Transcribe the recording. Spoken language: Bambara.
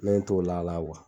Ne yɛnt'o la la